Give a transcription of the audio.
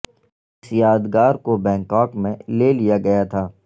اس یادگار کو بینکاک میں لے لیا گیا تھا